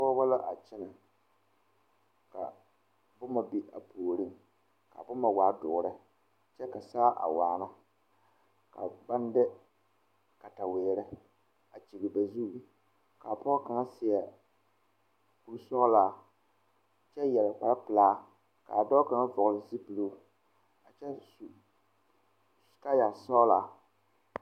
Pɔgeba la a kyɛnɛ ka boma be a puoriŋ ka boma waa doɔre kyɛ ka saa a waana ka baŋ de kataweere a kyiŋ ba zu ka pɔge kaŋa seɛ kure sɔglaa kyɛ yɛre kpare pilaa kaa daa kaŋa vɔgle zupiloo a kyɛ su kaaya sɔglaa.